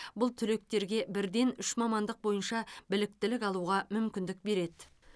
бұл түлектерге бірден үш мамандық бойынша біліктілік алуға мүмкіндік береді